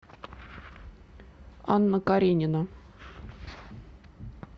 анна каренина